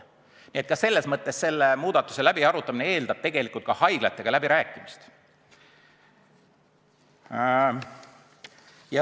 Nii et ka selle muudatuse läbiarutamine eeldab haiglatega läbirääkimist.